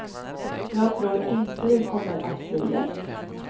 Jag tror inte det kommer att bli lätt.